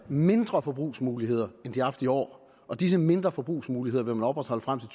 mindre forbrugsmuligheder end de har haft i år og disse mindre forbrugsmuligheder vil man opretholde frem til